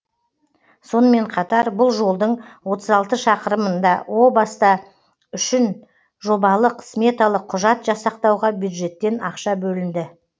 сонымен қатар бұл жолдың отыз алты шақырымын да баста үшін жобалық сметалық құжат жасақтауға бюджеттен ақша бөлінді